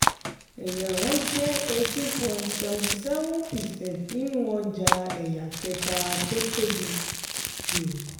ẹ̀yà wọn jẹ́ eighteen point seventy seven percent nínú ọjà ẹ̀yà kẹta tó tóbi jù.